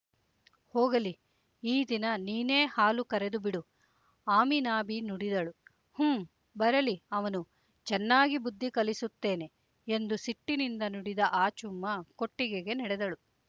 ಹೋಗಲಿ ಈ ದಿನ ನೀನೇ ಹಾಲು ಕರೆದು ಬಿಡು ಆಮಿನಾಬಿ ನುಡಿದಳು ಹೂಂ ಬರಲಿ ಅವನು ಚೆನ್ನಾಗಿ ಬುದ್ಧಿ ಕಲಿಸುತ್ತೇನೆ ಎಂದು ಸಿಟ್ಟಿನಿಂದ ನುಡಿದ ಆಚುಮ್ಮ ಕೊಟ್ಟಿಗೆಗೆ ನಡೆದಳು